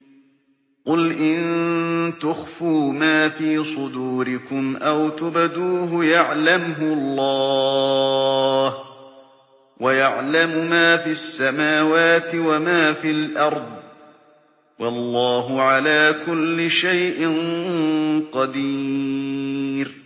قُلْ إِن تُخْفُوا مَا فِي صُدُورِكُمْ أَوْ تُبْدُوهُ يَعْلَمْهُ اللَّهُ ۗ وَيَعْلَمُ مَا فِي السَّمَاوَاتِ وَمَا فِي الْأَرْضِ ۗ وَاللَّهُ عَلَىٰ كُلِّ شَيْءٍ قَدِيرٌ